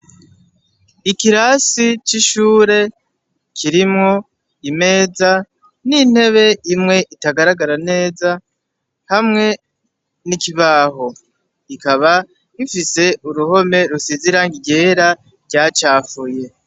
Ikirasi c'ishure Kirimwo imeza n'intebe imwe itagaragara neza hamwe n'ikibaho kikaba gifise uruhome rusize irangi ryera ryacafuye.